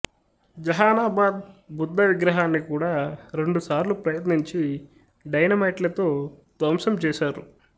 జెహానాబాద్ బుద్ధ విగ్రహాన్ని కూడా రెండు సార్లు ప్రయత్నించి డైనమైట్లతో ధ్వంసం చేసారు